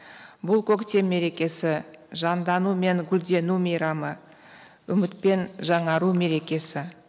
бұл көктем мерекесі жандану мен гүлдену мейрамы үміт пен жаңару мерекесі